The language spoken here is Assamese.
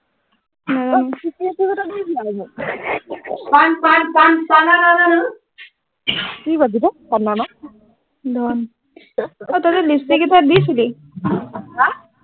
অ পান পান পানা না না কি শব্দ এইটো পানা না ধন অই তহঁতি লিপষ্টিক কেইটা দিছিলি আ